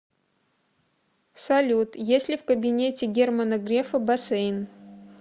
салют есть ли в кабинете германа грефа бассейн